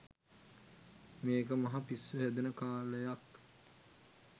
මේක මහ පිස්සු හැදෙන කාලයක්